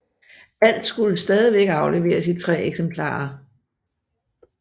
Alt skulle stadig afleveres i 3 eksemplarer